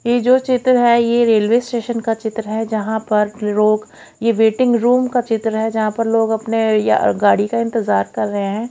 ये जो चित्र है ये रेलवे स्टेशन का चित्र है। जहां पर परोग ये वेटिंग रूम का चित्र है। जहां पर लोग अपने या गाड़ी का इंतजार कर रहे हैं।